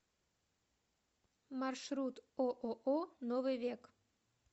маршрут ооо новый век